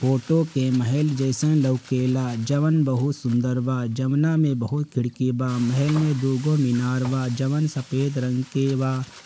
Photo के महल जैसे लौकेला जवन बहुत सुंदर बा जवना में बहुत खिड़की बा महल मे दो गो मीनार बा जवन सफेद रंग के बा।